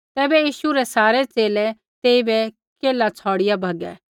तैबै यीशु रै सारै च़ेले तेइबै केल्है छ़ौड़िआ भगै